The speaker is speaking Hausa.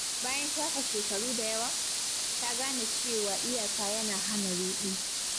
Bayan shafe shekaru da yawa, ta gane cewa iyaka yana hana ruɗu.